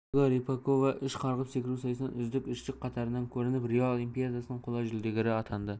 ольга рыпакова үш қарғып секіру сайысынан үздік үштік қатарынан көрініп рио олимпиадасының қола жүлдегері атанды